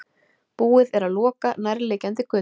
Búið er að loka nærliggjandi götum